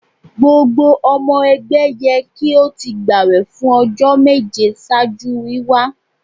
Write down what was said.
Gbogbo ọmọ ẹgbẹ yẹ ki o ti gbawẹ fun ọjọ meje ṣaaju wiwa